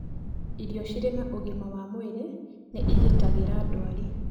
Irio cirĩ na ũgima wa mwĩrĩ nĩ igitagĩra ndwari